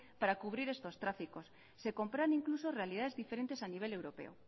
para cubrir estos tráficos se comparan incluso realidades diferentes a nivel europeo